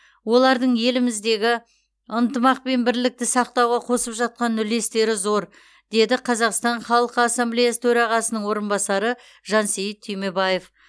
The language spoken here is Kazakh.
олардың еліміздегі ынтымақ пен бірлікті сақтауға қосып жатқан үлестері зор деді қазақстан халық ассамблеясы төрағасының орынбасары жансейіт түймебаев